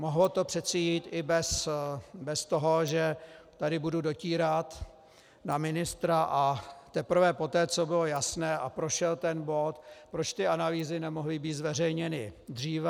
Mohlo to přeci jít i bez toho, že tady budu dotírat na ministra, a teprve poté, co bylo jasné a prošel ten bod - proč ty analýzy nemohly být zveřejněny dříve?